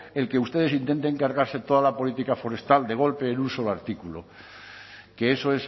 el que ustedes intenten cargarse toda la política forestal de golpe en un solo artículo que eso